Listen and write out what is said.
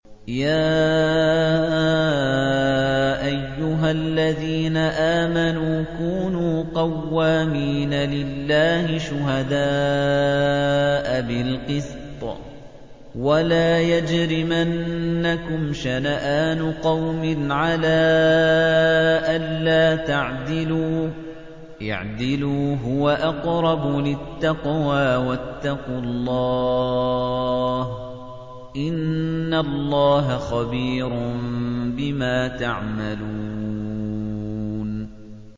يَا أَيُّهَا الَّذِينَ آمَنُوا كُونُوا قَوَّامِينَ لِلَّهِ شُهَدَاءَ بِالْقِسْطِ ۖ وَلَا يَجْرِمَنَّكُمْ شَنَآنُ قَوْمٍ عَلَىٰ أَلَّا تَعْدِلُوا ۚ اعْدِلُوا هُوَ أَقْرَبُ لِلتَّقْوَىٰ ۖ وَاتَّقُوا اللَّهَ ۚ إِنَّ اللَّهَ خَبِيرٌ بِمَا تَعْمَلُونَ